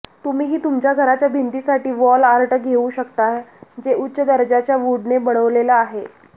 तुम्हीही तुमच्या घराच्या भिंतींसाठी वॉल आर्ट घेऊ शकता जे उच्च दर्जाच्या वूडने बनवलेलं आहे